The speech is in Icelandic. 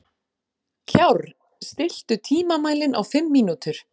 Kjárr, stilltu tímamælinn á fimm mínútur.